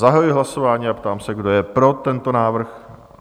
Zahajuji hlasování a ptám se, kdo je pro tento návrh?